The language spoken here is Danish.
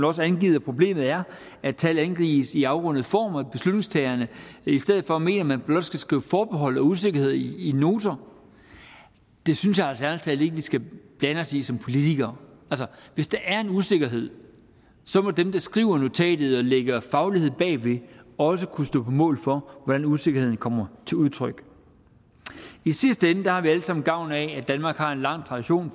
også angivet at problemet er at tallet angives i afrundet form og at beslutningstagerne i stedet for mener at man blot skal skrive forbehold og usikkerhed i noterne det synes jeg altså ærlig talt ikke vi skal blande os i som politikere hvis der er en usikkerhed må dem der skriver notatet og lægger faglighed bagved også kunne stå på mål for hvordan usikkerheden kommer til udtryk i sidste ende har vi alle sammen gavn af at danmark har en lang tradition